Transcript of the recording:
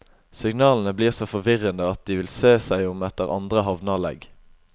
Signalene blir så forvirrende at de vil se seg om etter andre havneanlegg.